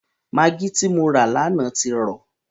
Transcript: Magí tí mo rà lánàá ti rọ.